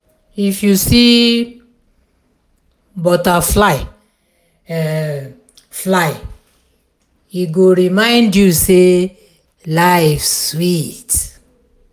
if you see butterfly um fly e go remind you say life sweet.